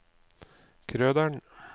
Krøderen